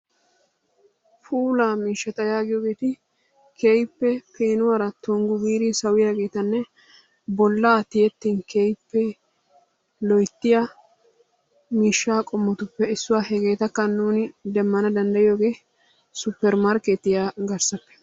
puulaa miishshata yaagiyogeeti keehippe peenuwuwara tonggu gi sawiyaageetanne bollaa tiyettin keehippe loyttiya miishshaa qommotupe issuwa, hegeetakka nuuni demana danddayiyoogee suppermarkeetiya garssappe.